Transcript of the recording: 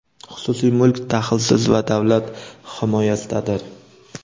Xususiy mulk daxlsiz va davlat himoyasidadir.